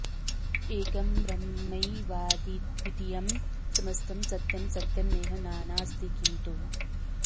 एकं ब्रह्मैवाद्वितीयं समस्तं सत्यं सत्यं नेह नानाऽस्ति किं तु